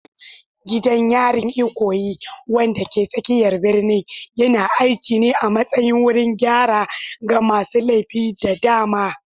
Gidan yarin Ikoyi, wanda ke tsakiyar birnin, yana aiki ne a matsayin wurin gyara ga masu laifi da dama.